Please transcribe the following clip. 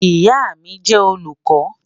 Ìyà mi jẹ́ olùkọ.